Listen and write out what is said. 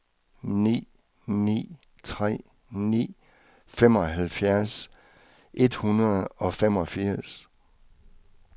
ni ni tre ni femoghalvtreds et hundrede og femogfirs